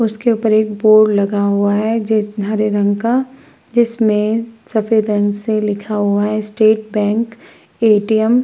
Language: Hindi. उसके ऊपर एक बोर्ड लगा हुआ है जिस हरे रंग का जिसमें सफेद रंग से लिखा हुआ है स्टेट बैंक ए.टी.एम. ।